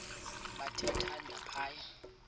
bathe thande phaya